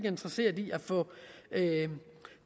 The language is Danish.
interesseret i at få